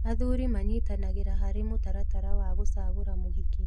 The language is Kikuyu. Athuri manyitanagĩra harĩ mũtaratara wa gũcagũra mũhiki